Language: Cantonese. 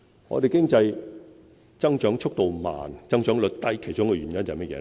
我們的經濟增長速度慢、增長率低，其中一個原因是甚麼？